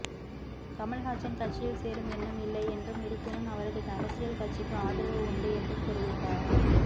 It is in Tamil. கமல்ஹாசன் கட்சியில் சேரும் எண்ணம் இல்லை என்றும் இருப்பினும் அவரது அரசியல் கட்சிக்கு ஆதரவு உண்டு என்றும் தெரிவித்தார்